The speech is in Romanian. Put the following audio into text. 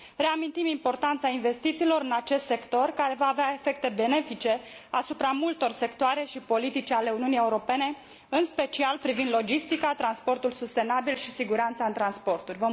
Reamintim importanța investițiilor în acest sector, care va avea efecte benefice asupra multor sectoare și politici ale Uniunii Europene, în special privind logistica, transportul sustenabil și siguranța în transporturi.